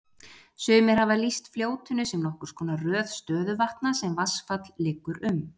Sumir hafa því lýst fljótinu sem nokkurs konar röð stöðuvatna sem vatnsfall liggur um.